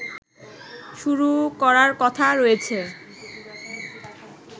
শুরু করার কথা রয়েছে